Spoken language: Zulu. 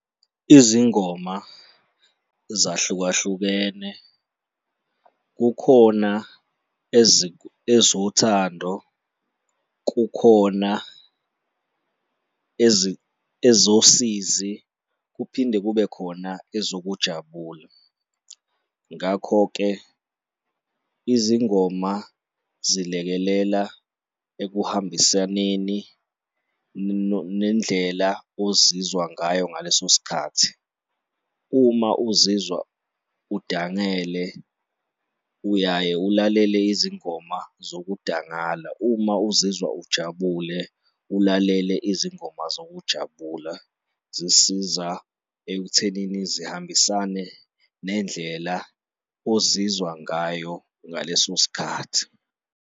Izingoma zahlukahlukene, kukhona ezothando, kukhona ezosizi kuphinde kube khona ezokujabula. Ngakho-ke, izingoma zilekelela ekuhambisaneni nendlela ozizwa ngayo ngaleso sikhathi. Uma uzizwa udangele, uyaye ulalele izingoma zokudangala, uma uzizwa ujabule, ulalele izingoma uzokujabula. Zisiza ekuthenini zihambisane nendlela ozizwa ngayo ngaleso sikhathi.